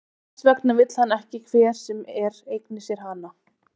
Þess vegna vill hann ekki að hver sem er eigni sér hana.